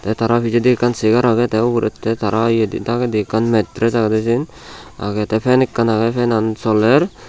tay tara pijedi ekka segar ekkan agey tay ugure tay tara dagedi metress agede siyen agey tay fen ekkan agey fenan soler.